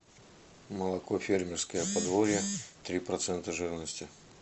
молоко фермерское подворье три процента жирности